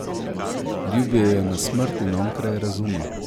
Ljubijo jo na smrt in okraj razuma.